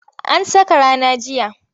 An saka rana jiya.